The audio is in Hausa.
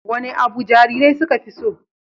Wane abu jarirai suka fi so?